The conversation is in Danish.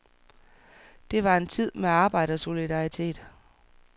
Det var en tid med arbejdersolidaritet.